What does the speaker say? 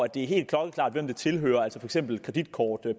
det er helt klokkeklart hvem tilhører for eksempel kreditkort